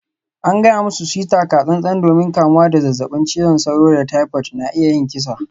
An gaya musu su yi taka-tsan-tsan domin kamuwa da zazzabin cizon sauro da typhoid na iya yin kisa.